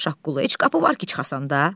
Şaqqulu, heç qapı var ki, çıxasan da.